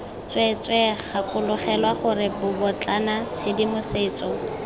tsweetswee gakologelwa gore bobotlana tshedimosetso